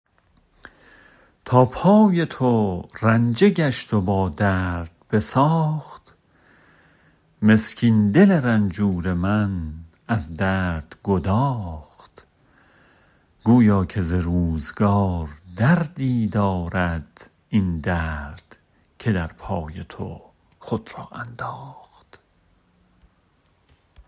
تا پای تو رنجه گشت و با درد بساخت مسکین دل رنجور من از درد گداخت گویا که ز روز گار دردی دارد این درد که در پای تو خود را انداخت